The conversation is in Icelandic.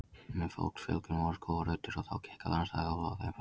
Með fólksfjölgun voru skógar ruddir og þá gekk á landsvæði úlfa og þeim fækkaði.